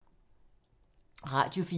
Radio 4